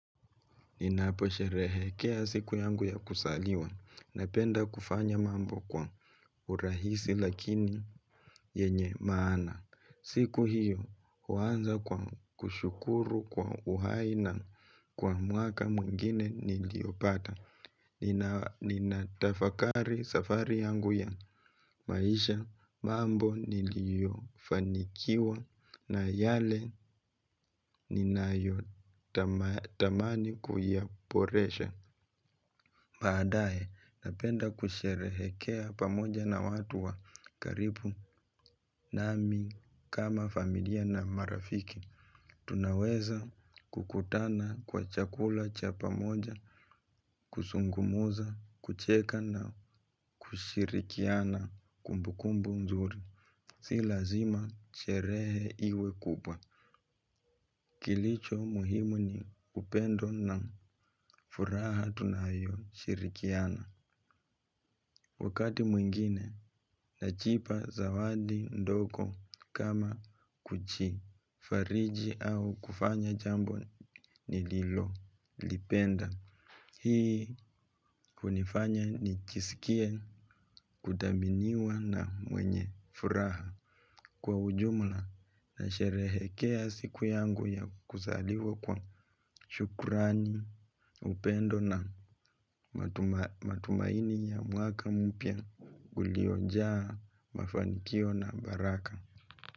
Ninaposherehekea siku yangu ya kuzaliwa napenda kufanya mambo kwa urahisi lakini yenye maana. Siku hiyo huanza kwa kushukuru kwa uhai na kwa mwaka mwingine niliopata. Ninatafakari safari yangu ya maisha mambo niliyofanikiwa na yale ninayotamani kuyaboresha. Baadae napenda kusherehekea pamoja na watu wa karibu nami kama familia na marafiki. Tunaweza kukutana kwa chakula cha pamoja, kuzungumza, kucheka na kushirikiana kumbukumbu mzuri. Si lazima sherehe iwe kubwa. Kilicho muhimu ni upendo na furaha tunayoshirikiana. Wakati mwingine, najipa zawadi ndogo kama kuchi. Fariji au kufanya jambo nililo. Lipenda. Hii kunifanya nijisikie kuthaminiwa na mwenye furaha. Kwa ujumla na sherehekea siku yangu ya kuzaliwa kwa shukrani upendo na matumaini ya mwaka mpya uliojaa mafanikio na baraka.